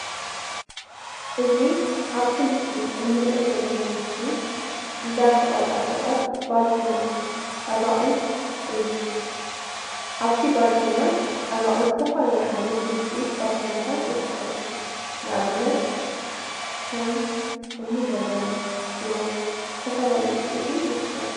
እዚ ኣብዚ ምስሊ እንርእዮ ዘለና ምስሊ እንዳ ሸቀጣ ሸቀጥ ባልተና ፀባቂት እዩ። ኣብ ባልትና ፀባቂት ዝተፈላለዩ ዓይነታት ውፅኢት ባልትነታት ይርከቡ። ንኣብነት ከም እኒ በርበረ፣ ሽሮ ዝተፈላለዩ ውፅኢታት ይርከቡ።